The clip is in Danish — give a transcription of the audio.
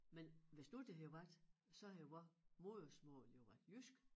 Men hvis nu det havde været så havde vor modersmål jo været jysk